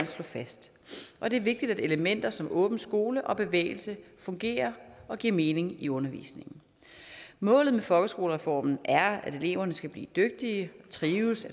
slå fast og det er vigtigt at elementer som åben skole og bevægelse fungerer og giver mening i undervisningen målet med folkeskolereformen er at eleverne skal blive dygtige og trives